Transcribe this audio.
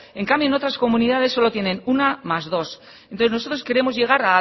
en cambio en otras comunidades solo tienen una más dos entonces nosotros queremos llegar